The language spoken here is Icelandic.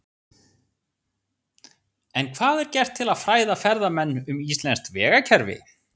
En hvað er gert til að fræða ferðamenn um íslenskt vegakerfi?